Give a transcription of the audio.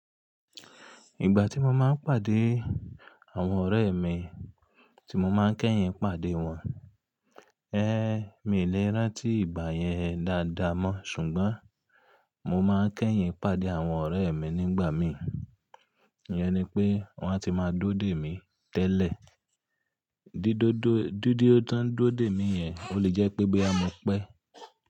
Ìgbà tí mo máa ń pàdé àwọn ọ̀rẹ́ mi tí mo máa ń kẹ́yìn pàdé wọn. Ẹ̀, mi ò lè rántí ìgbà yẹn dáadáa mọ́ ṣùgbọ́n mo máa ń kẹ́yìn pàdé àwọn ọ̀rẹ́ mi nígbà mi. Ìyẹn ni pé wọ́n a ti máa dúró dè mí tẹ́lẹ̀. Dídódo-- Dídúró tán dúró dè mí yẹn ò le jẹ́ pé bóyá mọ̀ pé.